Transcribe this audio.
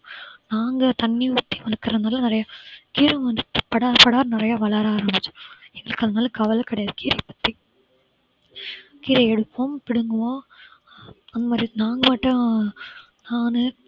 நாங்க தண்ணி ஊத்தி வளர்க்கறதுனால நிறைய கீரை வந்து படர படர நிறைய வளர ஆரம்பிச்சு எங்களுக்காக அதனால கவலை கிடையாது கீரையை பிச்சு கீரையை எடுப்போம் பிடுங்குவோம் அந்த மாதிரி நாங்க பாட்டும் நானு